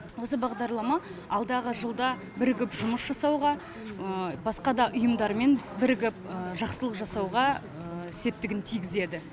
осы бағдарлама алдағы жылда бірігіп жұмыс жасауға басқа да ұйымдармен бірігіп жақсылық жасауға септігін тигізеді